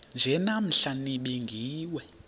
nje namhla nibingiwe